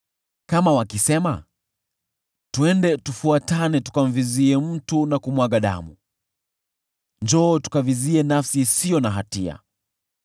Kama wakisema, “Twende tufuatane; tukamvizie mtu na kumwaga damu, njoo tukavizie nafsi isiyo na hatia;